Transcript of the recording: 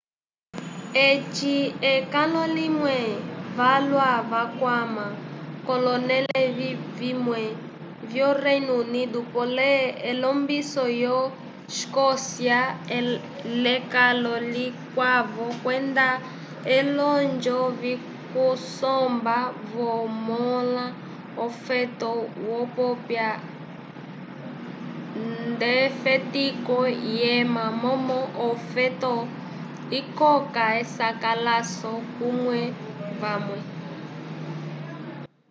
eci ekalo limwe valwa vakwama k'olonẽle vimwe vyo reino unido polé elombiso lyo escocia l'ekalo likwavo kwenda olonjo vyokusomba vamõla ofoto yopiwa nd'efetiko lyema momo ofoto ikoka esakalaso k'omanu vamwe